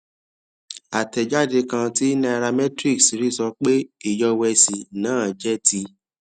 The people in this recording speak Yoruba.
àtẹjáde kan tí nairametrics rí sọ pé ìyọwẹsì náà jẹ ti